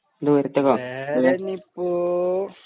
ദൂരത്തേക്കോ